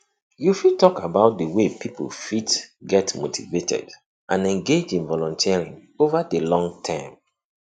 you fit talk about di way poeple fit get motivated and engaged in volunteering over di longterm